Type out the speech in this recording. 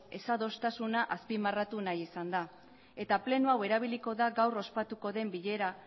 desadostasuna azpimarratu nahi izan da eta pleno hau erabiliko da gaur ospatuko den